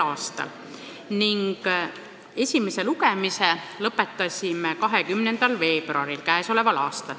a ning esimese lugemise lõpetasime 20. veebruaril.